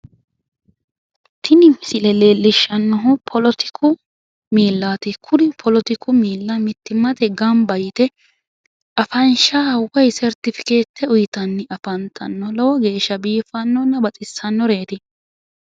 Tini misile leelishanohu poletiku miillati ,kuri poletiku miilla mittimmate gamba yte afansha woyi sertificete uyitanni afantannoreeti. lowo geeshsha baxisannoreeti !!